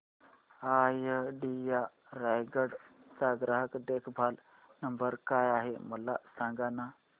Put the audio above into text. idea Raigad चा ग्राहक देखभाल नंबर काय आहे मला सांगाना